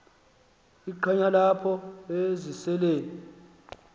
iqheya apho eziseleni